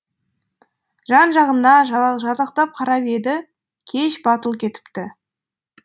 жан жағына жалтақтап қарап еді кеш батып кетіпті